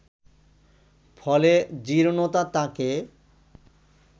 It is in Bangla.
ফলে জীর্ণতা তাঁকে